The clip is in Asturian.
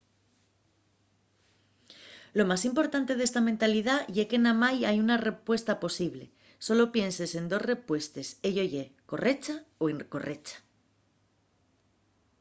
lo más importante d'esta mentalidá ye que namái hai una respuesta posible sólo pienses en dos respuestes ello ye correcha o incorrecha